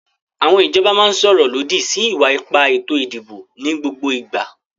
Àwọn ìjọba máa ń sọ̀rọ̀ lòdì sí ìwà ipá ètò ìdìbò ní gbogbo ìgbà.